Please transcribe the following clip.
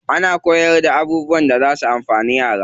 Ana koyarda abubuwan da zafi amfani yaro.